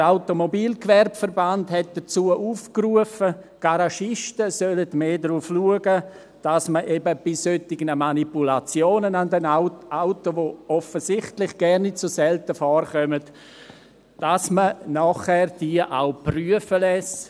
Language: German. Der Automobilgewerbeverband hat dazu aufgerufen, die Garagisten sollten mehr darauf achten, dass man eben bei solchen Manipulationen an den Autos, die offensichtlich gar nicht so selten vorkommen, sie auch prüfen lasse.